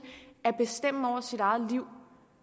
at bestemme over sit eget liv